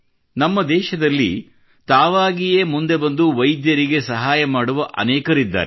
ನಮ್ಮ ದೇಶದಲ್ಲಿ ತಾವಾಗಿಯೇ ಮುಂದೆ ಬಂದು ವೈದ್ಯರಿಗೆ ಸಹಾಯ ಮಾಡುವ ಅನೇಕರಿದ್ದಾರೆ